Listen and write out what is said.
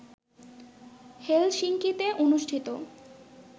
হেলসিংকিতে অনুষ্ঠিত